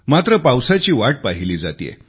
मात्र पावसाची वाट पाहिली जातेय